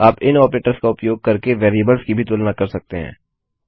आप इन ऑपरेटर्स का उपयोग करके वेरिएबल्स की भी तुलना कर सकते हैं